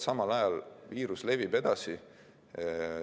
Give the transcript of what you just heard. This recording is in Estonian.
Samal ajal viirus levib edasi.